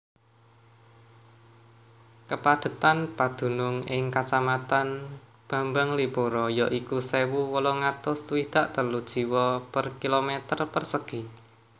Kapadhetan padunung ing Kacamatan Bambanglipuro ya iku sewu wolung atus swidak telu jiwa per km persegi